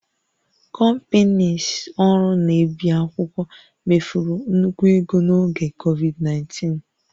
Companieslọ ọrụ na-ebi akwụkwọ mefuru nnukwu ego n'oge Covid19